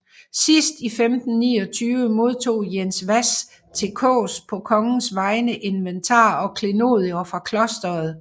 Sidst i 1529 modtog Jens Hvas til Kaas på kongens vegne inventar og klenodier fra klosteret